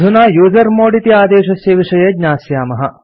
अधुना यूजर्मोड् इति आदेशस्य विषये ज्ञास्यामः